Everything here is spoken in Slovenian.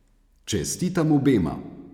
Čestitam obema!